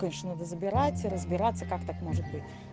конечно надо забирать и разбираться как так может быть